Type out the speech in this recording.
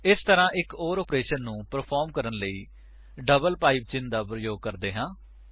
ਇਸ ਤਰ੍ਹਾਂ ਅਸੀ ਇੱਕ ਓਰ ਆਪਰੇਸ਼ਨ ਨੂੰ ਪਰਫ਼ਾਰ੍ਮ ਕਰਨ ਲਈ ਡਬਲ ਪਾਇਪ ਚਿੰਨ੍ਹ ਦਾ ਪ੍ਰਯੋਗ ਕਰਦੇ ਹਾਂ